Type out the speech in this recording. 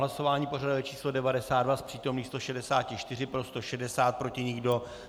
Hlasování pořadové číslo 92, z přítomných 164 pro 160, proti nikdo.